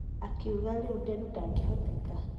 Akiuga rĩu Nderu ndagehoteka